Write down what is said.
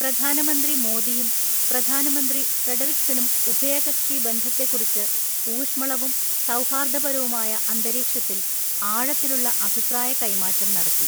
പ്രധാനമന്ത്രി മോദിയും പ്രധാനമന്ത്രി ഫ്രെഡറിക്സനും ഉഭയകക്ഷി ബന്ധത്തെക്കുറിച്ച് ഊഷ്മളവും സൗഹാര്ദ്ദപരവുമായ അന്തരീക്ഷത്തില് ആഴത്തിലുള്ള അഭിപ്രായകൈ മാറ്റം നടത്തി.